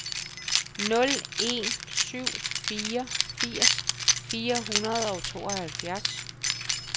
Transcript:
nul en syv fire firs fire hundrede og tooghalvfjerds